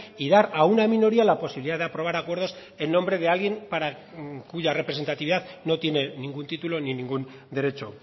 y dar a una minoría la posibilidad de aprobar acuerdos en nombre de alguien para cuya representatividad no tiene ningún título ni ningún derecho